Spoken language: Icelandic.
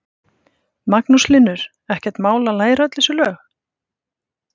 Magnús Hlynur: Ekkert mál að læra öll þessi lög?